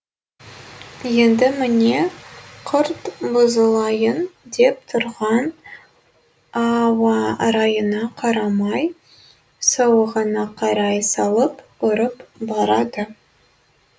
енді міне күрт бұзылайын деп тұрған ауа райына қарамай сауығына қарай салып ұрып барады